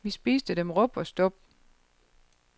Vi spiste dem rub og stub.